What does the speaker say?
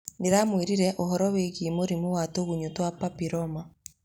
Nĩndamwĩrire ũhoro wigiĩ mũrĩmũwa tũgunyũtwa papĩroma.